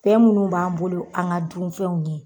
Fɛn munnu b'an bolo an ŋa dunfɛnw ye